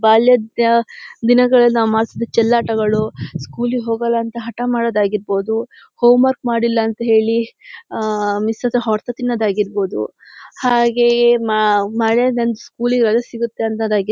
ಬಾಲ್ಯದ್ ಅಹ್ ದಿನಗಳಲ್ ನಾವ್ ಮಾಡ್ತಿದ್ದಿದ್ ಚೆಲ್ಲಾಟಗಳು ಸ್ಕೂಲಿಗ್ ಹೋಗಲ್ಲ ಅಂತ ಹಠ ಮಾಡೋದ್ ಆಗಿರಬಹುದು ಹೋಂವರ್ಕ್ ಮಾಡಿಲ್ಲ ಅಂತ ಹೇಳಿ ಅಹ್ ಮಿಸ್ ಹತ್ರ ಹೊಡ್ತ ತಿನ್ನೋದ್ ಆಗಿರ್ಬೋದು ಹಾಗೇ ಮ ಮಳೆಲ್ ನನ್ ಸ್ಕೂಲಿಗ್ ರಜೆ ಸಿಗುತ್ತೆ ಅನ್ನೊದಗಿ --